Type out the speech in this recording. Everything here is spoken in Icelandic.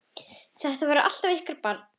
Þetta verður alltaf ykkar barn.